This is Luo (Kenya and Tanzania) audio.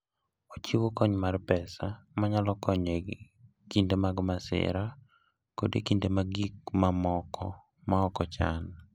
Ochiwo kony mar pesa manyalo konyo e kinde mag masira, koda e kinde mag gik mamoko maok ochan.